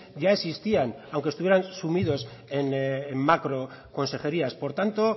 ya existían aunque estuvieran sumidos en macroconsejerias por tanto